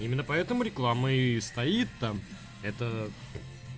именно поэтому реклама и стоит там это